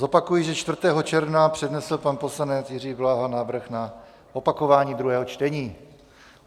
Zopakuji, že 4. června přednesl pan poslanec Jiří Bláha návrh na opakování druhého čtení.